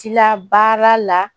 Tila baara la